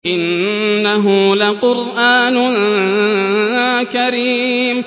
إِنَّهُ لَقُرْآنٌ كَرِيمٌ